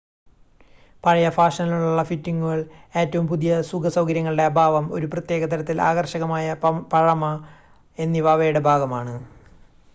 പഴയ ഫാഷനിലുള്ള ഫിറ്റിങ്ങുകൾ ഏറ്റവും പുതിയ സുഖ സൗകര്യങ്ങളുടെ അഭാവം ഒരു പ്രത്യേക തരത്തിൽ ആകർഷകമായ പഴമ എന്നിവ അവയുടെ ഭാഗമാണ്